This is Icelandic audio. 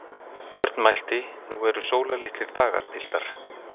Björn mælti: Nú eru sólarlitlir dagar, piltar!